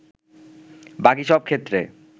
বাকী সব ক্ষেত্রে